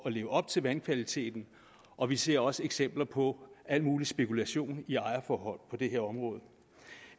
at leve op til vandkvaliteten og vi ser også eksempler på al mulig spekulation i ejerforhold på det her område